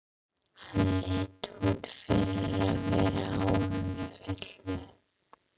Hann leit út fyrir að vera áhyggjufullur.